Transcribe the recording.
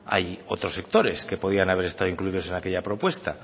hay otros sectores que podrían haber estado incluidos en aquella propuesta